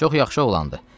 Çox yaxşı oğlandır.